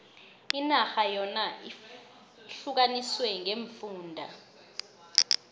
inarha yona ihlukaniswe ngeemfunda